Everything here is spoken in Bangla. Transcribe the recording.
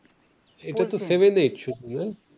এটা তো সেভেন এইট শুধু না?